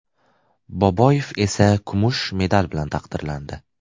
Boboyev esa kumush medal bilan taqdirlandi.